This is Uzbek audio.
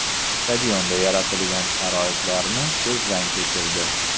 Stadionda yaratilgan sharoitlarni ko‘zdan kechirdi.